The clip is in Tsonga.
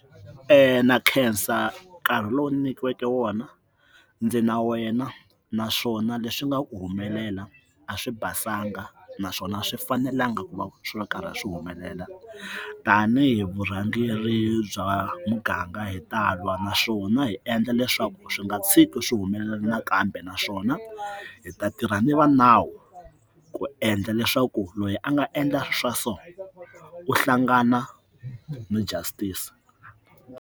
na khensa nkarhi lowu nyikiweke wona ndzi na wena naswona leswi nga ku humelela a swi basanga naswona swi fanelanga ku va swo karhi a swi humelela tanihi vurhangeri bya muganga hi talwa naswona hi endla leswaku swi nga tshiki swi humelela nakambe naswona hi ta tirha ni va nawu ku endla leswaku loyi a nga endla swa so u hlangana ni justice.